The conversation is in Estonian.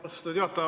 Austatud juhataja!